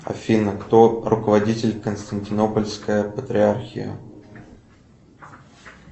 афина кто руководитель константинопольская патриархия